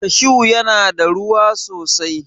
Kashu ya na da ruwa sosai